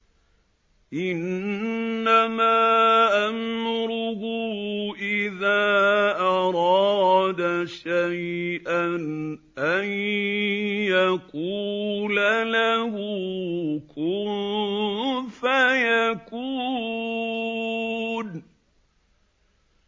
إِنَّمَا أَمْرُهُ إِذَا أَرَادَ شَيْئًا أَن يَقُولَ لَهُ كُن فَيَكُونُ